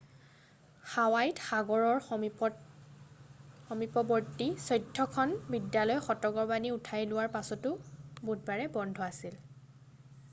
হাৱাইত সাগৰৰ সমীপৱৰ্তী চৈধ্যখন বিদ্যালয় সতৰ্কবাণী উঠাই লোৱাৰ পাছতো বুধবাৰে বন্ধ আছিল